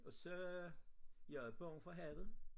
Og så jeg er bange for havet